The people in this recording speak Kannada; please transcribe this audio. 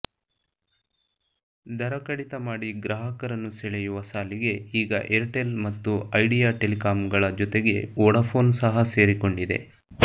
ದರ ಕಡಿತ ಮಾಡಿ ಗ್ರಾಹಕರನ್ನು ಸೆಳೆಯುವ ಸಾಲಿಗೆ ಈಗ ಏರ್ಟೆಲ್ ಮತ್ತು ಐಡಿಯಾ ಟೆಲಿಕಾಂಗಳ ಜೊತೆಗೆ ವೋಡಾಫೋನ್ ಸಹ ಸೇರಿಕೊಂಡಿದೆ